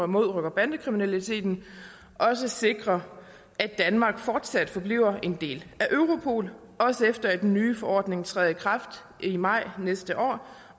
mod rocker og bandekriminaliteten også sikrer at danmark fortsat forbliver en del af europol også efter den nye forordning træder i kraft i maj næste år